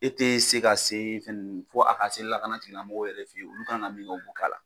E tɛ se ka se fɛn ninnu, fɔ a ka se lakana tigilamɔgɔw yɛrɛ fɛ yen, olu kan ka min kɛ o b'o k'a la.